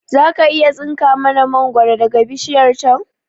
Zaka iya tsinka mana mangoro daga bishiyar can